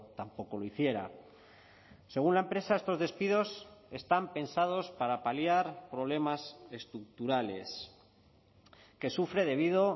tampoco lo hiciera según la empresa estos despidos están pensados para paliar problemas estructurales que sufre debido